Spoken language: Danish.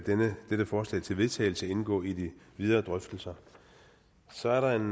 dette forslag til vedtagelse indgå i de videre drøftelser så er der en